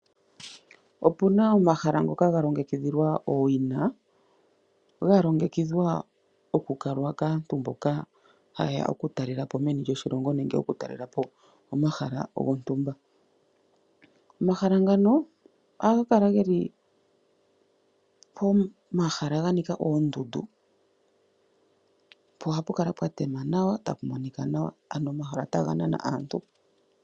Opuna omahala ngoka galo ngekidhilwa owina, galo ngekidhwa okukalwa kaantu mboka hayeya okutalelapo meni lyoshilongo nenge okutalelapo omahala gontumba. Omahala ngano aga kala geli pomahala ganika oondudu , pohapu kala pwatema nawa tapu monika nawa, ano omahala taganana aantu.